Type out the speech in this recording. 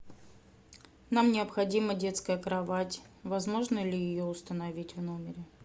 нам необходима детская кровать возможно ли ее установить в номере